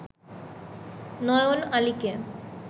নয়ন আলীকে